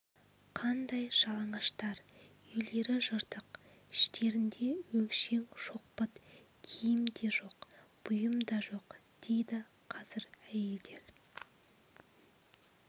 қандай жалаңаштар үйлері жыртық іштерінде өңшең шоқпыт киім де жоқ бұйым да жоқ дейді қазір әйелдер